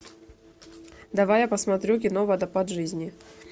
давай я посмотрю кино водопад жизни